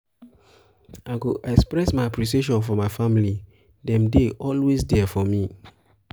i go express my appreciation for my family; dem dey always there for me.